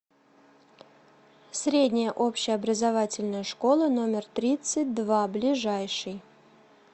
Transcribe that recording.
средняя общеобразовательная школа номер тридцать два ближайший